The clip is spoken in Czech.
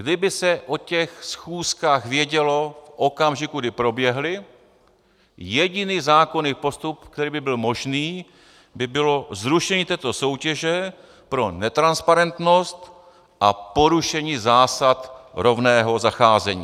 Kdyby se o těch schůzkách vědělo v okamžiku, kdy proběhly, jediný zákonný postup, který by byl možný, by bylo zrušení této soutěže pro netransparentnost a porušení zásad rovného zacházení.